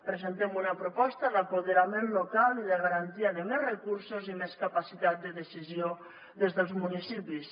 presentem una proposta d’apoderament local i de garantia de més recursos i més capacitat de decisió des dels municipis